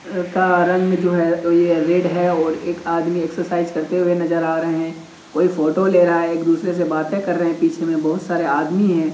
का रंग जो है वो ये रेड है और एक आदमी एक्सरसाइज करते हुए नजर आ रहे हैं। कोई फोटो ले रहा है एक दुसरे से बाते कर रहे हैं। पीछे में बहुत सारे आदमी हैं।